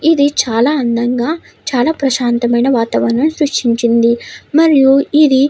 ఇది చాలా అందంగా చాలా అందమైన వాతావరణం సృష్టించింది మరియు ఇది --